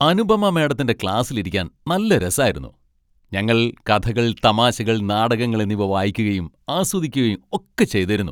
അനുപമ മാഡത്തിന്റെ ക്ലാസിൽ ഇരിക്കാൻ നല്ല രസായിരുന്നു. ഞങ്ങൾ കഥകൾ, തമാശകൾ, നാടകങ്ങൾ എന്നിവ വായിക്കുകയും ആസ്വദിക്കുകയും ഒക്കെ ചെയ്തേരുന്നു.